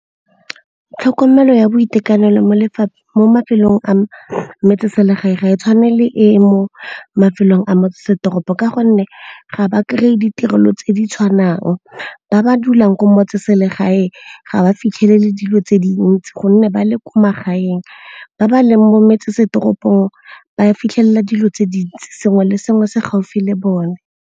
Tlhokomelo ya boitekanelo mo mafelong a metseselegae ga e tshwane le e mo mafelong a motsesetoropo ka gonne ga ba kry-e ditirelo tse di tshwanang. Ba ba dulang ko motseselegae ga ba fitlhele le dilo tse dintsi gonne ba le ko magaeng. Ba ba leng mo metsesetoropong ba fitlhelela dilo tse dintsi sengwe le sengwe se gaufi le bone.